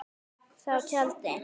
Þá taldi